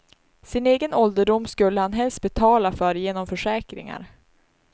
Sin egen ålderdom skulle han helst betala för genom försäkringar.